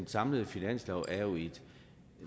samlede finanslov er jo et